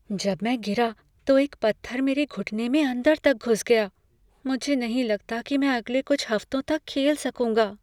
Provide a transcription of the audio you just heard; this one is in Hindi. जब मैं गिरा तो एक पत्थर मेरे घुटने में अंदर तक घुस गया। मुझे नहीं लगता कि मैं अगले कुछ हफ्तों तक खेल सकूंगा।